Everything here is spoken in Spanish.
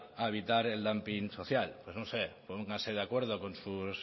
a evitar el dumping social pues no sé póngase de acuerdo con sus